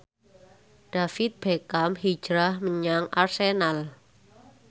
David Beckham hijrah menyang Arsenal